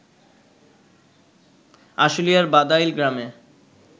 আশুলিয়ার বাদাইল গ্রামের